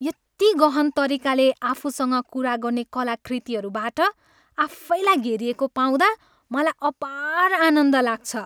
यति गहन् तरिकाले आफूसँग कुरा गर्ने कलाकृतिहरूबाट आफैलाई घेरिएको पाउँदा मलाई अपार आनन्द लाग्छ।